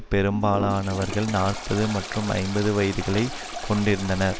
பெரும்பாலனவர்கள் நாற்பது மற்றும் ஐம்பது வயதுகளை கொண்டிருந்தனர்